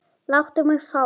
Láttu mig fá hann.